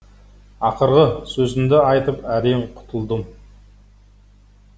ақырғы сөзімді айтып әрең құтылдым